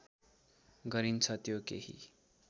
गरिन्छ त्यो केही